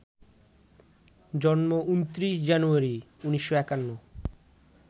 জন্ম ২৯ জানুয়ারি, ১৯৫১